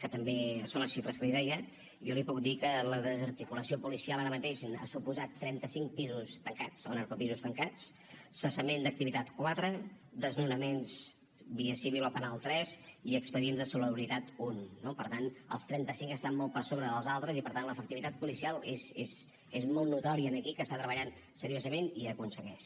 que també són les xifres que li deia jo li puc dir que la desarticulació policial ara mateix ha suposat trenta cinc pisos tancats o narcopisos tancats cessament d’activitat quatre desnonaments via civil o penal tres i expedients de salubritat un no per tant els trenta cinc estan molt per sobre dels altres i per tant l’efectivitat policial és molt notòria aquí que està treballant seriosament i que ho aconsegueix